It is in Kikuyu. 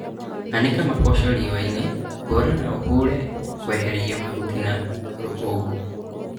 Anĩka maboco riũani, hũra na ũhure kwehĩria mahuti na rũkũngũ